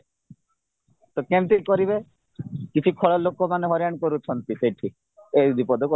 ତ କେମିତି କରିବେ କିଛି ଖରାପ ଲୋକମାନେ ହଇରାଣ କରୁଛନ୍ତି ସେଠି ଏଇଦିପଦ